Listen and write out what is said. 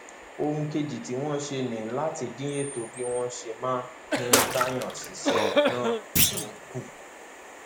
ohun kejì tí wọn ṣe ni láti dín ètò bí wọn ṣe máa um gbà wọn síṣẹ náà um kù